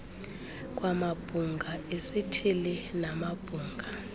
kwamabhunga esithili namabhunga